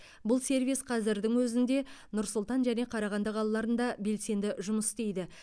бұл сервис қазірдің өзінде нұр сұлтан және қарағанды қалаларында белсенді жұмыс істейді